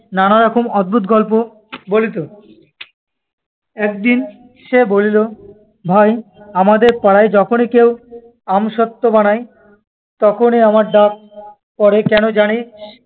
নানারকম অদ্ভুত গল্প বলিত। একদিন সে বলিল, ভাই, আমাদের পাড়ায় যখনই কেউ আমসত্ত্ব বানায় তখনই আমার ডাক পড়ে, কেন জানিস?